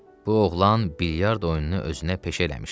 Bu oğlan bilyard oyununu özünə peşə eləmişdi.